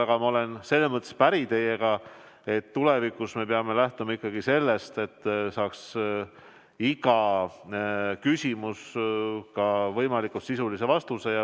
Aga ma selles mõttes olen teiega päri, et tulevikus me peame lähtuma ikkagi sellest, et saaks iga küsimus võimalikult sisulise vastuse.